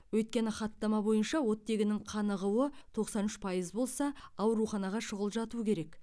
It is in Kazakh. өйткені хаттама бойынша оттегінің қанығуы тоқсан үш пайыз болса ауруханаға шұғыл жату керек